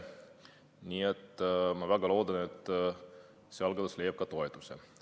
Nii et ma väga loodan, et see algatus leiab toetuse.